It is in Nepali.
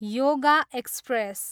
योगा एक्सप्रेस